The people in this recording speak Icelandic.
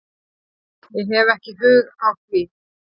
Ég hef ekki hug á því